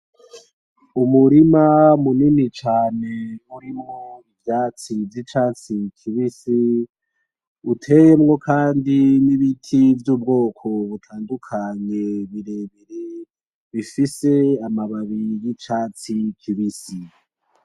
Umurima munini cane urimwo ivyatsi vy'icatsi kibisi uteyemwo kandi n'ibiti byubwoko butandukanye birebire bifise amababi y'icatsi kibisi.